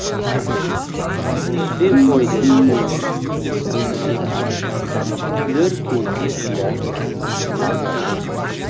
түспей қойды сенсіз бүтін күн маған күлер кезде күле алмаймын мұңданам